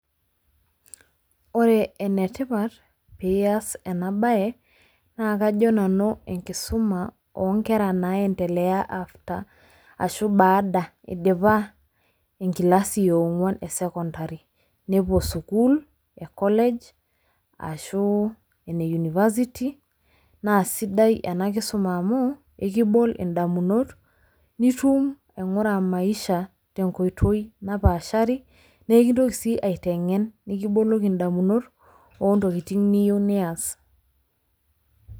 Ore enetipat pee iyas ena bae naa kajo nanu enkisuma oonkera naayentelea after ashu baada idipa enkilasi eenkuan esekondari, nepuo sukuul ekolej arashu ene university naa sidai ena kisuma amu ekibal indamunot nitum aingura maisha tenkoito napaashari, naa ekintoki sii aitenken nikiboloki indamunot ontokitin niyieu nias.